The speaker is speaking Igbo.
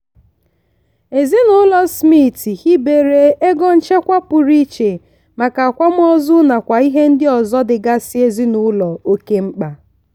ezinụlọ smith hibere ego nchekwa pụrụ iche maka akwamozu nakwa ihe ndị ọzọ dịgasị ezinụlọ oke mkpa.